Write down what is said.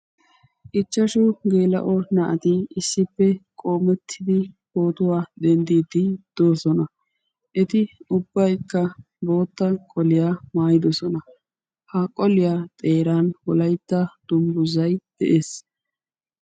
Ichchashu geela'o naati issippe qoomettidi pootuwa denddiiddi doosona. Eti ubbaykka bootta qoliya maayidosona. Ha qoliya xeeran wolaytta dungguzay de'ees.